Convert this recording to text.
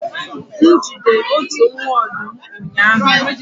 m jide otu nwa ọdụm ụnyahụ